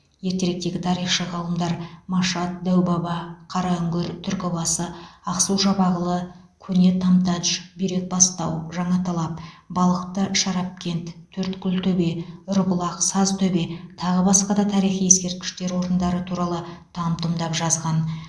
ертеректегі тарихшы ғалымдар машат дәубаба қараүңгір түркібасы ақсу жабағылы көне тамтадж бүйрекбастау жаңаталап балықты шарапкент төрткүлтөбе ұрбұлақ сазтөбе тағы басқа да тарихи ескерткіштер орындары туралы там тұмдап жазған